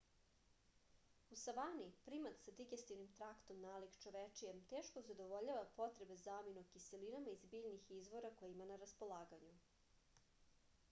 u savani primat sa digestivnim traktom nalik čovečijem teško zadovoljava potrebe za aminokiselinama iz biljnih izvora koje ima na raspolaganju